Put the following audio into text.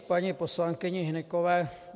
K paní poslankyni Hnykové.